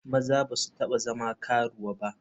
Maza ba su taba zama karuwa ba.